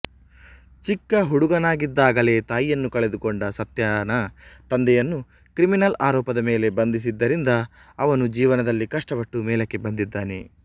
ಚಿಕ್ಕ ಹುಡುಗನಾಗಿದ್ದಾಗಲೇ ತಾಯಿಯನ್ನು ಕಳೆದುಕೊಂಡ ಸತ್ಯನ ತಂದೆಯನ್ನು ಕ್ರಿಮಿನಲ್ ಆರೋಪದ ಮೇಲೆ ಬಂಧಿಸಿದ್ದರಿಂದ ಅವನು ಜೀವನದಲ್ಲಿ ಕಷ್ಟಪಟ್ಟು ಮೇಲಕ್ಕೆ ಬಂದಿದ್ದಾನೆ